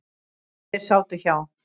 Þeir sátu hjá.